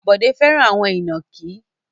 Bọ̀dé fẹ́ràn àwọn ìnàkí.